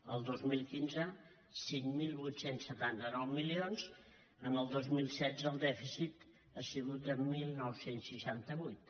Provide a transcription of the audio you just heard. el dos mil quinze cinc mil vuit cents i setanta nou milions el dos mil setze el dèficit ha sigut de dinou seixanta vuit